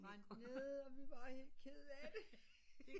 Det brændte ned og vi var helt kede af det